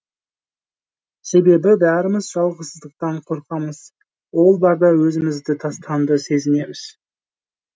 себебі бәріміз жалғыздықтан қорқамыз ол барда өзімізді тастанды сезінеміз